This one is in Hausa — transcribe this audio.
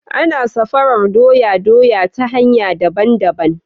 Ana sarafa doya doya ta hanya daban daban